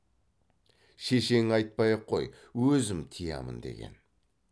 шешеңе айтпай ақ қой өзім тыямын деген